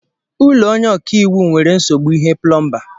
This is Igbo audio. Ụlọ onye ọkaiwu nwere nzogbu ihe plọmba.